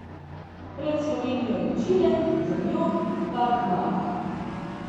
Pred Slovenijo je Čile, za njo Paragvaj.